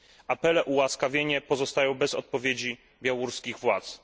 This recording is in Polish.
Apele o ułaskawienie pozostają bez odpowiedzi białoruskich władz.